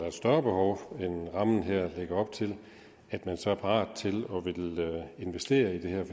et større behov end rammen her lægger op til at man så er parat til at ville investere i det her